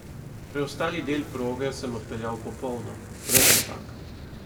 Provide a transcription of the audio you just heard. Preostali del proge sem odpeljal popolno, brez napak.